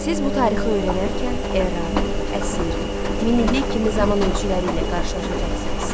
Siz bu tarixi öyrənərkən era, əsr, min illik kimi zaman ölçüləri ilə qarşılaşacaqsınız.